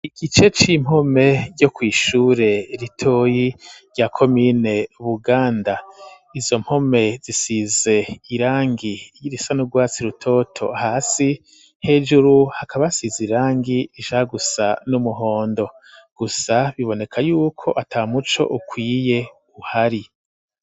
Igice c'impome ryo ku ishure ritoyi rya komine buganda izo mpome zisize irangi ry'irisa n'ugwatsi rutoto hasi hejuru hakaba hasize irangi ija gusa n'umuhondo gusa biboneka yuko ata muco ukwiye uhari.